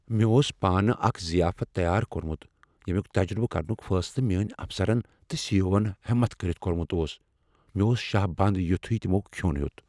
مےٚ اوس پانہ اکھ ضیافت تیار کوٚرمت ییٚمیک تجربہٕ کرنُک فیصلہٕ میٲنۍ افسرن تہٕ سی ایٖ اٗو ہن ہمت کٔرتھ کوٚرمت اوس مےٚ اوس شاہ بنٛد یتھے تمو کھیوٚن ہیوٚت